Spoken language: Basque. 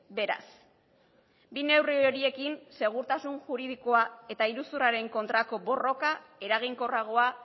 beraz bi neurri horiekin segurtasun juridikoa eta iruzurraren kontrako borroka eraginkorragoa